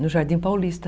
No Jardim Paulista.